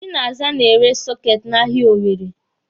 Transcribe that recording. Chinaza na-ere sọketi n'ahia Owere.